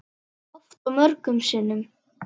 Oft og mörgum sinnum.